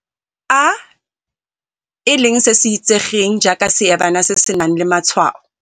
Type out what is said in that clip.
a, e leng se se itsegeng jaaka seebana se se nang le matshwao.